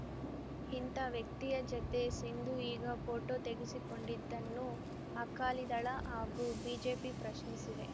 ಇಂಥ ವ್ಯಕ್ತಿಯ ಜತೆ ಸಿಂಧು ಈಗ ಫೋಟೋ ತೆಗೆಸಿಕೊಂಡಿದ್ದನ್ನು ಅಕಾಲಿದಳ ಹಾಗೂ ಬಿಜೆಪಿ ಪ್ರಶ್ನಿಸಿವೆ